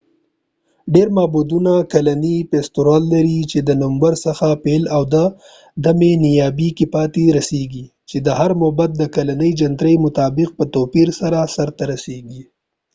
ډیری معبدونه کلنی فیستوال لري چې د نومبر څخه پيل او د مۍ په نیمایی کی پای ته رسیږي چې د هر معبد د کلنۍ جنترۍ مطابق په توپیر سره سر ته رسیږی